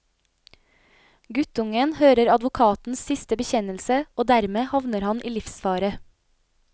Guttungen hører advokatens siste bekjennelse, og dermed havner han i livsfare.